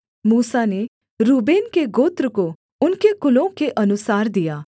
मूसा ने रूबेन के गोत्र को उनके कुलों के अनुसार दिया